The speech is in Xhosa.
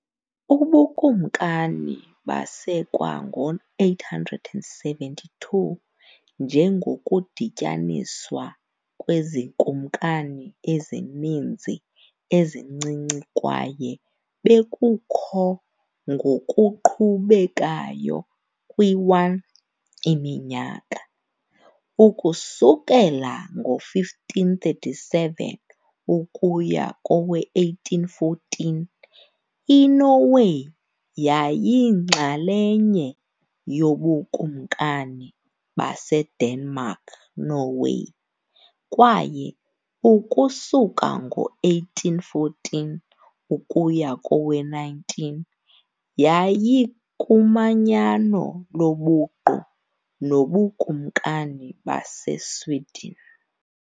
Ubukumkani basekwa ngo-872 njengokudityaniswa kwezikumkani ezininzi ezincinci kwaye bekukho ngokuqhubekayo kwi-1, Iminyaka. Ukusukela ngo-1537 ukuya kowe-1814, iNorway yayiyinxalenye yoBukumkani baseDenmark-Norway, kwaye, ukusuka ngo-1814 ukuya kowe-19, yayikumanyano lobuqu noBukumkani baseSweden.